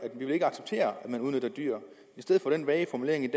at at man udnytter dyr i stedet for den vage formulering i